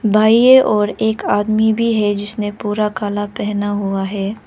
भाईयो और एक आदमी भी है जिसने पूरा काला पहना हुआ है।